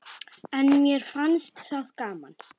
En mér fannst það gaman.